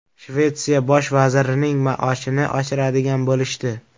Shvetsiya bosh vazirining maoshini oshiradigan bo‘lishdi.